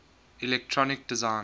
electronic design